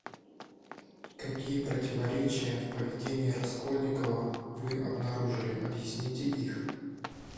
какие противоречия в поведении раскольникова вы обнаружили объясните их